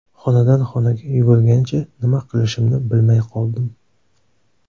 Xonadan xonaga yugurgancha nima qilishimni bilmay qoldim.